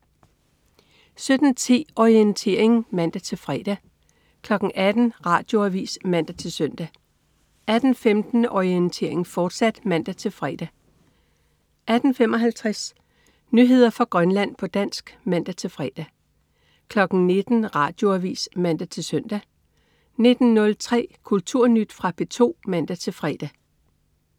17.10 Orientering (man-fre) 18.00 Radioavis (man-søn) 18.15 Orientering, fortsat (man-fre) 18.55 Nyheder fra Grønland, på dansk (man-fre) 19.00 Radioavis (man-søn) 19.03 Kulturnyt. Fra P2 (man-fre)